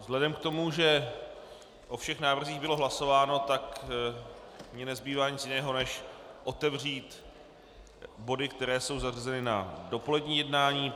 Vzhledem k tomu, že o všech návrzích bylo hlasováno, tak mi nezbývá nic jiného než otevřít body, které jsou zařazeny na dopolední jednání.